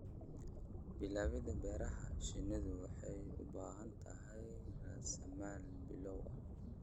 Bilaabidda beerashada shinnidu waxay u baahan tahay raasamaal bilow ah.